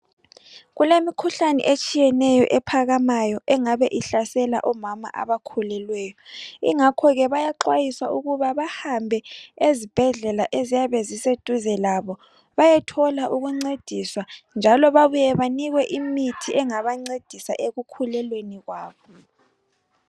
kulemikhuhlane etshiyeneyo ephakamayo engabe ihlasela omama abakhulelweyo ingakho ke bayaxwayiswa ukuba bahambe ezibhedlela eziyabe ziseduze labo bayethola ukuncediswa njalo babuye banikwe imithi engabancedisa ekukhulelweni kwabo